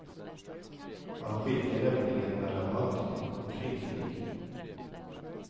Han skiljer nämligen mellan manlig och kvinnlig.